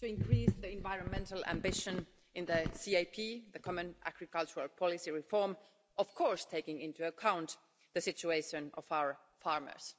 to increase the environmental ambition in the CAP the common agricultural policy reform, of course taking into account the situation of our farmers.